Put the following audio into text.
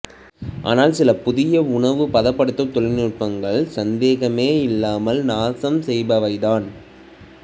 ஆனால் சில புதிய உணவு பதப்படுத்தும் தொழில்நுட்பங்கள் சந்தேகமேயில்லாமல் நாசம் செய்பவைதான்